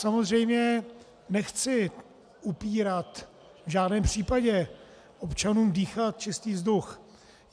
Samozřejmě nechci upírat v žádném případě občanům dýchat čistý vzduch.